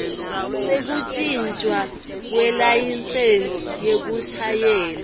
sekuntjintjwa kwelayisensi yekushayela